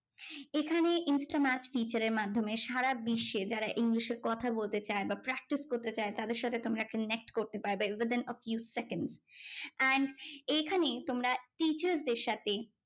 এখানে insta match teacher এর মাধ্যমে সারা বিশ্বে যারা English এ কথা বলতে চায় বা practise করতে চায় তাদের সাথে connect করতে পারবে within a few seconds and এখানে তোমরা teacher দের সাথে